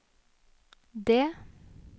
D